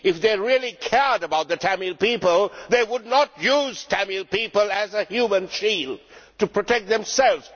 If they really cared about the Tamil people they would not use Tamil people as a human shield to protect themselves.